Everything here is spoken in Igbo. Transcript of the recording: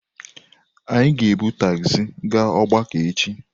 Anyị ga-ebu tagzi gaa ogbako echi.